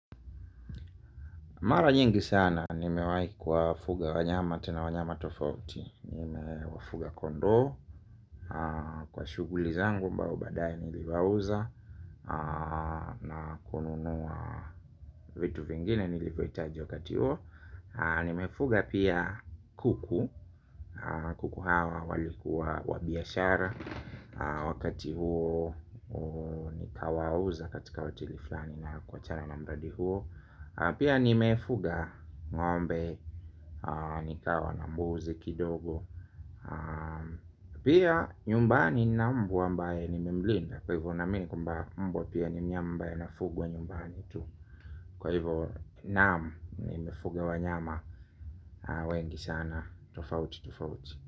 Mara nyingi sana, nimewahi kuwafuga wanyama tena wanyama tofauti. Wafuga kondoo, kwa shughuli zangu ambao badae niliwauza na kununuwa vitu vingine nilivyohitaji wakati huo. Nimefuga pia kuku, kuku hawa walikuwa wa biashara. Wakati huo nikawauza katika hoteli fulani na kuachana na mradi huo. Pia nimefuga ngombe nikawa na mbuzi kidogo. Pia nyumbani nina mbwa ambaye nimemlinda. Kwa hivyo naamini kwamba mbwa pia ni mnyama ambaye anafugwa nyumbani tu. Kwa hivyo naam nimefuga wanyama wengi sana tofauti, tofauti.